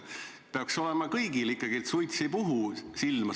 Peaks olema kõigil ikkagi nii, et suits ei puhu silma.